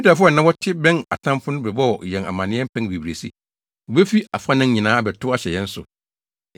Yudafo a na wɔte bɛn atamfo no bɛbɔɔ yɛn amanneɛ mpɛn bebree se, “Wobefi afanan nyinaa abɛtow ahyɛ yɛn so.”